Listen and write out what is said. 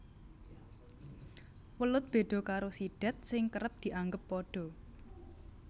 Welut béda karo sidat sing kerep dianggep padha